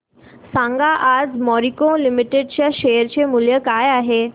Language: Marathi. सांगा आज मॅरिको लिमिटेड च्या शेअर चे मूल्य काय आहे